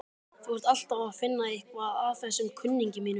Þú ert alltaf að finna eitthvað að þessum kunningjum mínum.